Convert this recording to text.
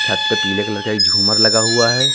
छत पे पीले कलर का एक झूमर लगा हुआ है।